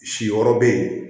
Si yɔrɔ bɛ yen